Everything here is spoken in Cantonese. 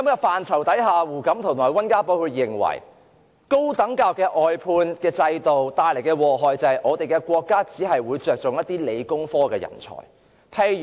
當時胡錦濤和溫家寶都認為，高等教育外判制度只會帶來禍害，令到國家只看重理工科人才。